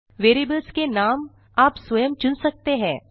variables के नाम आप स्वयं चुन सकते हैं